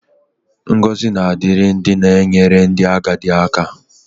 Ngọzi na-adịrị ndị na-enyere ndị agadi aka.